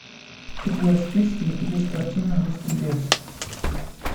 у тебя в списке есть картина русский бес